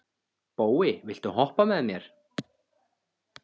Bói, viltu hoppa með mér?